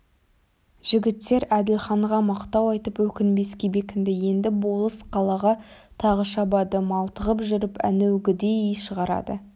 жігіттер әділханға мақтау айтып өкінбеске бекінді енді болыс қалаға тағы шабады малтығып жүріп әнеугідей шығарады